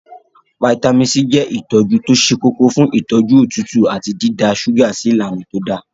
Fítàmì C je itoju to se koko fun itoju otutu ati dida suga si ilana to da.